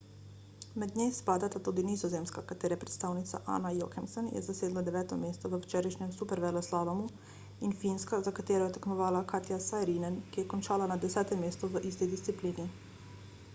mednje spadata tudi nizozemska katere predstavnica anna jochemsen je zasedla deveto mesto v včerajšnjem superveleslalomu in finska za katero je tekmovala katja saarinen ki je končala na desetem mestu v isti disciplini